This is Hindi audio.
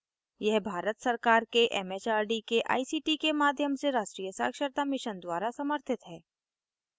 यह भारत सरकार के it it आर डी के आई सी टी के माध्यम से राष्ट्रीय साक्षरता mission द्वारा समर्थित है